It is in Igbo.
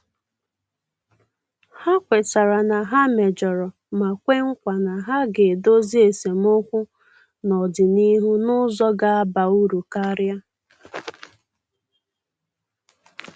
Ha kwetara na ha mejọrọ ma kwe nkwa na ha ga-edozi esemokwu n'ọdịnịhu n'ụzọ ga-aba uru karia.